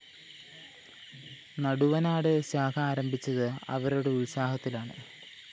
നടുവനാട്‌ ശാഖ ആരംഭിച്ചത്‌ അവരുടെ ഉത്സാഹത്തിലാണ്‌